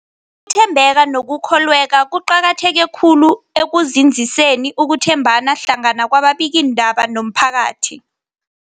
thembeka nokukholweka kuqakatheke khulu ekunzinziseni ukuthembana hlangana kwababikiindaba nomphakathi.